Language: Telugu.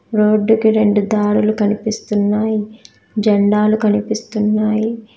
రోడ్డుకి రెండు దారులు కనిపిస్తున్నాయి జెండాలు కనిపిస్తున్నాయి.